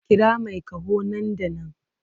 Kira mai ƙaho nan da nan!